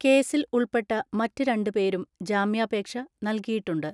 കേസിൽ ഉൾപ്പെട്ട മറ്റ് രണ്ട് പേരും ജാമ്യാപേക്ഷ നൽകിയിട്ടുണ്ട്.